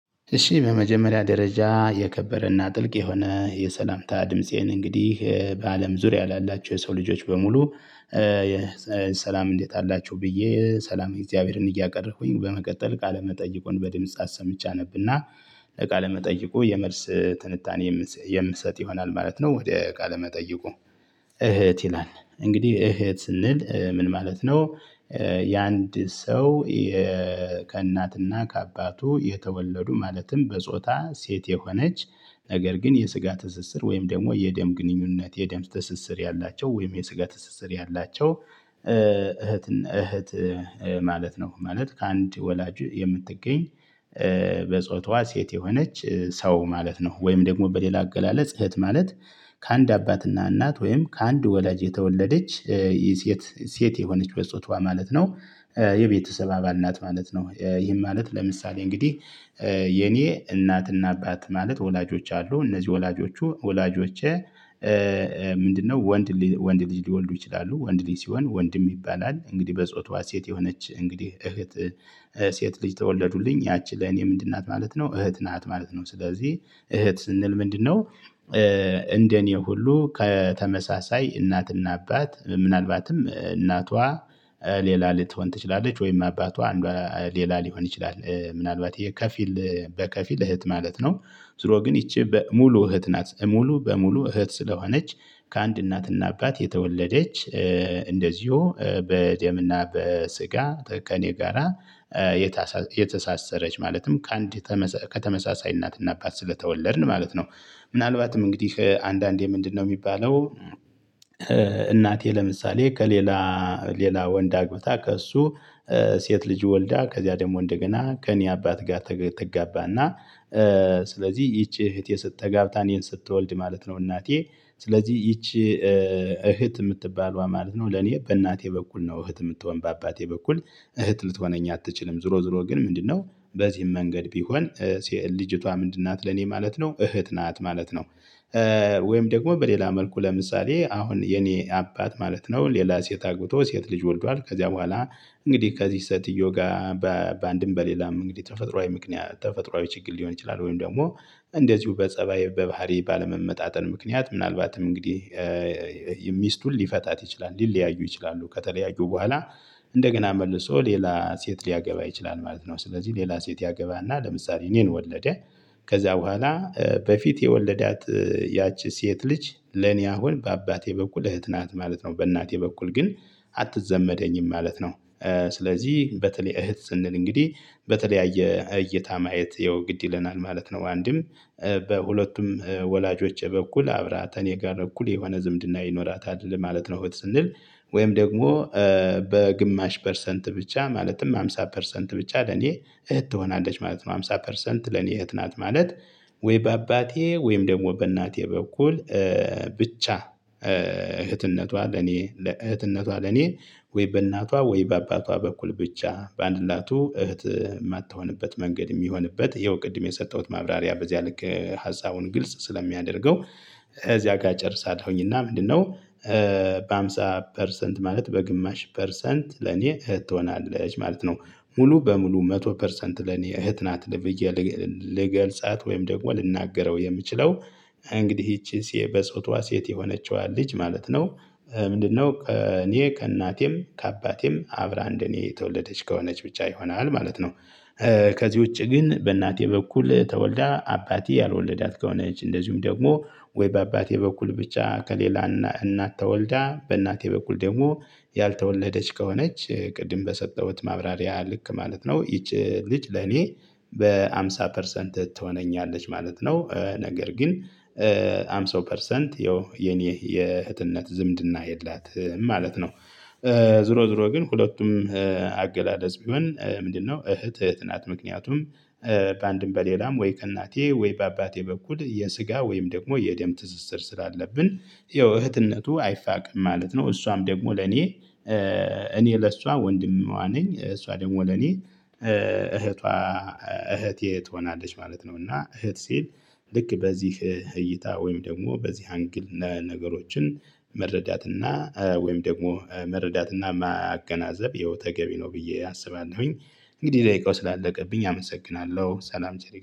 እሺ በመጀመሪያ ደረጃ የከበረና ጥልቅ የሆነ የሰላምታ ድምፄን እንግዲህ በአለም ዙሪያ ላላቸው የሰው ልጆች በሙሉ። ሰላም እንዴት አላችሁ ብዬ ሰላም እግዚአብሔርን እያቀረብኩኝ በመቀጠል ቃለ መጠይቁን በድምጽ አሰምቼ አነብና ለቃለ መጠይቁ የመልስ ትንታኔ የምሰጥ ይሆናል ማለት ነው። ወደ ቃለመጠይቁ እህት ይላል እንግዲህ እህት ስንል ምን ማለት ነው? የአንድ ሰው ከእናትና ከአባቱ የተወለዱ ማለትም በጾታ ሴት የሆነች ነገር ግን የስጋ ትስስር ወይም ደግሞ የደም ግንኙነት የደም ትስስር ያላቸው ወይም የስጋ ትስስር ያላቸው እህት እህት ማለት ነው። ማለት ከአንድ ወላጅ የምትገኝ በጾታዎ ሴት የሆነች ሰው ማለት ነው። ወይም ደግሞ በሌላ አገላለጽ እህት ማለት ከአንድ አባትና እናት ወይም ከአንድ ወላጅ የተወለደች የሴት ሴት የሆነች በጾቷ ማለት ነው። የቤተሰብ አባል ናት ማለት ነው ይህም ማለት ለምሳሌ እንግዲህ የኔ እናትና አባት ማለት ወላጆች አሉ እነዚህ ወላጆቹ ወላጆቼ። ምንድነው? ወንድ ልጅ ሊወልዱ ይችላሉ ወንድ ልጅ ሲሆን ወንድም ይባላል። እንግዲህ በጾታ ሴት የሆነች እንግዲህ እህት ሴት ልጅ ተወለዱልኝ ያቺ ለኔ ምንድን ናት ማለት ነው እህት ናት ማለት ነው። ስለዚህ እህት ስንል ምንድነው? እንደኔ ሁሉ ከተመሳሳይ እናትና አባት ምናልባትም እናቷ ሌላ ልትሆን ትችላለች ወይም አባቷ ሌላ ሊሆን ይችላል ምናልባት የከፊል በከፊል እህት ማለት ነው። ዙሮ ግን ይቺ ሙሉ እህት ናት ሙሉ በሙሉ እህት ስለሆነች ከአንድ እናትና አባት የተወለደች። እንደዚሁ በደም እና በስጋ ከእኔ ጋራ የተሳሰረች ማለትም ከአንድ ከተመሳሳይ እናትና አባት ስለተወለድን ማለት ነው። ምናልባትም እንግዲህ አንዳንዴ ምንድነው የሚባለው? እናቴ ለምሳሌ ከሌላ ሌላ ወንድ አግብታ ከእሱ ሴት ልጅ ወልዳ ከዚያ ደግሞ እንደገና ከእኔ አባት ጋር ትጋባና ስለዚህ ይቺ እህቴ ተጋብታ እኔን ስትወልድ ማለት ነው። እናቴ ስለዚህ ይቺ እህት የምትባለዋ ማለት ነው ለኔ በእናቴ በኩል ነው እህት የምትሆን በአባቴ በኩል እህት ልትሆነኝ አትችልም። ዝሮ ዝሮ ግን ምንድነው በዚህም መንገድ ቢሆን ልጅቷ ምንድን ናት ለኔ ማለት ነው እህት ናት ማለት ነው። ወይም ደግሞ በሌላ መልኩ ለምሳሌ አሁን የኔ አባት ማለት ነው ሌላ ሴት አግብቶ ሴት ልጅ ወልዷል ከዚያ በኋላ እንግዲህ ከዚች ሴትዮ ጋር በአንድም በሌላም እንግዲህ ተፈጥሮአዊ ምክንያት ተፈጥሮአዊ ችግር ሊሆን ይችላል። ወይም ደግሞ እንደዚሁ በጸባይ በባህሪ ባለመመጣጠን ምክንያት ምናልባትም እንግዲህ ሚስቱን ሊፈታት ይችላል ሊለያዩ ይችላሉ ከተለያዩ በኋላ እንደገና መልሶ ሌላ ሴት ሊያገባ ይችላል ማለት ነው። ስለዚህ ሌላ ሴት ያገባና ለምሳሌ እኔን ወለደ ከዛ በኋላ በፊት የወለዳት ያቺ ሴት ልጅ ለኔ አሁን በአባቴ በኩል እህት ናት ማለት ነው። በእናቴ በኩል ግን አትዘመደኝም ማለት ነው። ስለዚህ በተለይ እህት ስንል እንግዲህ በተለያየ እይታ ማየት ያው ግድ ይለናል ማለት ነው። አንድም በሁለቱም ወላጆቼ በኩል አብራ ከኔ ጋር እኩል የሆነ ዝምድና ይኖራታል ማለት ነው። እህት ስንል ወይም ደግሞ በግማሽ ፐርሰንት ብቻ ማለትም ሃምሳ ፐርሰንት ብቻ ለኔ እህት ትሆናለች ማለት ነው። አምሳ ፐርሰንት ለኔ እህት ናት ማለት ወይ በአባቴ ወይም ደግሞ በእናቴ በኩል ብቻ እህትነቷ ለኔ እህትነቷ ለኔ ወይ በእናቷ ወይ በአባቷ በኩል ብቻ በአንድላቱ እህት የማትሆንበት መንገድ የሚሆንበት ያው ቅድም የሰጠሁት ማብራሪያ በዚያ ልክ ሀሳቡን ግልጽ ስለሚያደርገው። እዚያ ጋር እጨርሳለሁኝ እና ምንድነው? በሃምሳ ፐርሰንት ማለት በግማሽ ፐርሰንት ለኔ እህት ትሆናለች ማለት ነው። ሙሉ በሙሉ መቶ ፐርሰንት ለኔ እህት ናት ብዬ ልገልፃት ወይም ደግሞ ልናገረው የምችለው እንግዲህ ይቺን ሴት በጾቷ ሴት የሆነችዋ ልጅ ማለት ነው። ምንድነው እኔ ከእናቴም ከአባቴም አብራ እንደኔ የተወለደች ከሆነች ብቻ ይሆናል ማለት ነው። ከዚህ ውጪ ግን በእናቴ በኩል ተወልዳ አባቴ ያልወለዳት ከሆነች እንደዚሁም ደግሞ ወይ በአባቴ በኩል ብቻ ከሌላ እናት ተወልዳ በእናቴ በኩል ደግሞ ያልተወለደች ከሆነች ቅድም በሰጠሁት ማብራሪያ ልክ ማለት ነው ይቺ ልጅ ለኔ በሃምሳ ፐርሰንት ትሆነኛለች ማለት ነው። ነገር ግን ሃምሳ ፐርሰንት ያው የኔ የእህትነት ዝምድና የላትም ማለት ነው። ዝሮ ዝሮ ግን ሁለቱም አገላለጽ ቢሆን ምንድነው? እህት እህት ናት ምክንያቱም በአንድም በሌላም ወይ ከእናቴ ወይ በአባቴ በኩል የስጋ ወይም ደግሞ የደም ትስስር ስላለብን ያው እህትነቱ አይፋቅም ማለት ነው። እሷም ደግሞ ለኔ እኔ ለሷ ወንድሟ ነኝ እሷ ደግሞ ለኔ እህቷ እህቴ ትሆናለች ማለት ነው። እና እህት ሲል ልክ በዚህ እይታ ወይም ደግሞ በዚህ አንግል ነገሮችን መረዳት እና ወይም ደግሞ መረዳት እና ማያገናዘብ ያው ተገቢ ነው ብዬ አስባለሁኝ። እንግዲህ ደቂቃው ስላለቀብኝ አመሰግናለሁ ሰላም ቸር ይግጠመን